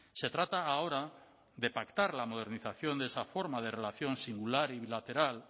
se trata ahora de pactar la modernización de esa forma de relación singular y bilateral